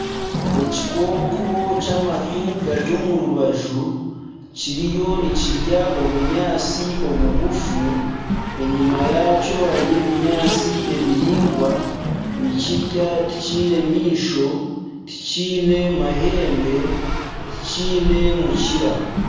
Ekikooko ky'amatu gari omu rubaju kiriyo nikirya obunyaatsi obugufu enyima yakyo hariyo ebinyaatsi ebiraingwa nikirya tikiine maisho tikiine mahembe tikiine mukira.